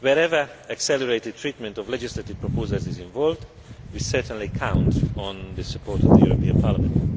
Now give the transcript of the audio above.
Wherever accelerated treatment of legislative proposals is involved, we certainly count on the support of the European Parliament.